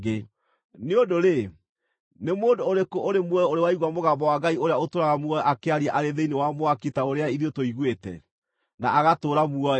Nĩ ũndũ-rĩ, nĩ mũndũ ũrĩkũ ũrĩ muoyo ũrĩ waigua mũgambo wa Ngai ũrĩa ũtũũraga muoyo akĩaria arĩ thĩinĩ wa mwaki ta ũrĩa ithuĩ tũiguĩte, na agatũũra muoyo?